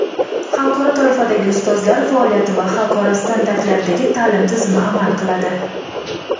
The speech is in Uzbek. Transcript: xalqaro toifadagi ustozlar faoliyati va xalqaro standartlardagi ta’lim tizimi amal qiladi.